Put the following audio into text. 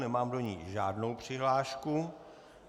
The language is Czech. Nemám do ní žádnou přihlášku.